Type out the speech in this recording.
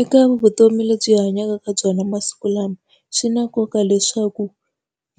Eka vutomi lebyi hi hanyaka ka byona masiku lama, swi na nkoka leswaku